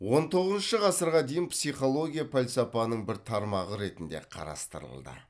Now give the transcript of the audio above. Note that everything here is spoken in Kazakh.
он тоғызыншы ғасырға дейін психология пәлсапаның бір тармағы ретінде қарастырылды